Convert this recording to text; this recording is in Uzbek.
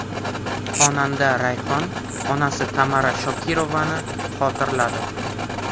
Xonanda Rayhon onasi Tamara Shokirovani xotirladi.